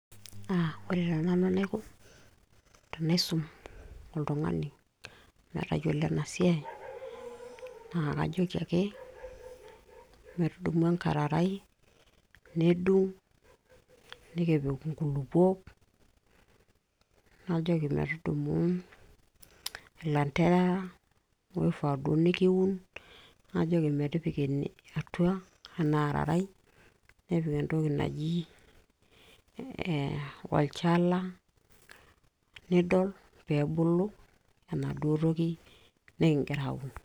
aa ore taa nanu enaiko tenaisum oltung'ani metayiolo ena siai naa kajoki ake metudumu enkararai nedung nikipik inkulupuok najoki metudumu ilanterara oifaa duo nikiun najoki metipika ene atua ena ararai nepik entoki naji ee olchala nidol peebulu enaduo toki nikingira aun.